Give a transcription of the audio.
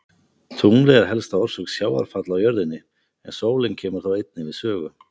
Tunglið er helsta orsök sjávarfalla á jörðinni en sólin kemur þó einnig við sögu.